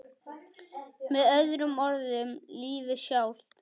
Með öðrum orðum lífið sjálft.